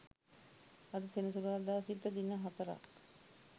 අද සෙනසුරාදා සිට දින හතරක්